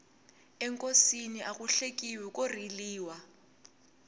enkosini aku hlekiwi ko riliwa